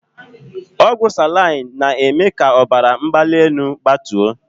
Ọgwụ salaịn aa na- eme k'ọbara mgbalị enu gbatuo.